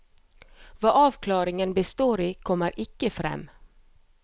Hva avklaringen består i, kommer ikke frem.